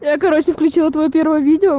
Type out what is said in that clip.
я короче включила твоё первое видео